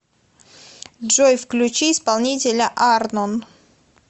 джой включи исполнителя арнон